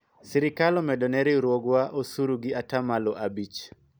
sirikal omedo ne riwruogwa osuru gi atamalo abich